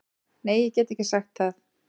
Nei ég get ekki sagt það.